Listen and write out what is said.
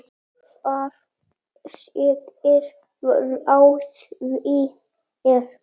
Þar segir frá því er